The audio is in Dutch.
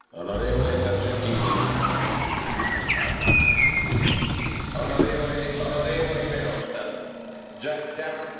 Meneer de premier, u lijkt dit debat hier te zien als een lesje aan een trots volk, zo noemde u dat.